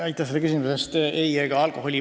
Aitäh selle küsimuse eest!